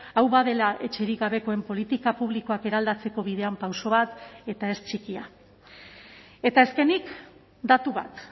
hau badela etxerik gabekoen politika publikoak eraldatzeko bidean pauso bat eta ez txikia eta azkenik datu bat